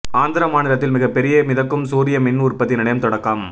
ஆந்திர மாநிலத்தில் மிகப் பெரிய மிதக்கும் சூரிய மின் உற்பத்தி நிலையம் தொடக்கம்